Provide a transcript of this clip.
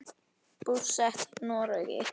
Búsett í Noregi.